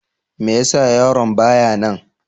Me ya sa yaron ba ya nan?